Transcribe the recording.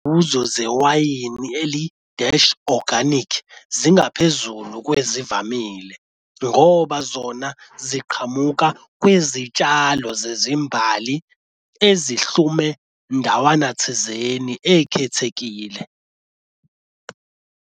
Kuzozewayini eli-dash organic zingaphezulu kwezivamile, ngoba zona ziqhamuka kwizitshalo zezimbali ezihlume ndawana thizeni ekhethekile.